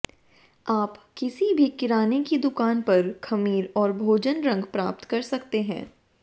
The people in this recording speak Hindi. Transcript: आप किसी भी किराने की दुकान पर खमीर और भोजन रंग प्राप्त कर सकते हैं